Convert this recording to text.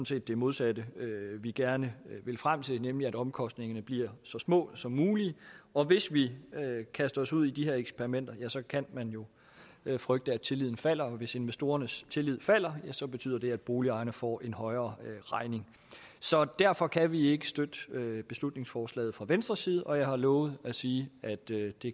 set det modsatte vi gerne vil frem til nemlig at omkostningerne bliver så små som muligt og hvis vi kaster os ud i de her eksperimenter ja så kan man jo frygte at tilliden falder og hvis investorernes tillid falder så betyder det at boligejerne får en højere regning så derfor kan vi ikke støtte beslutningsforslaget fra venstres side og jeg har lovet at sige at det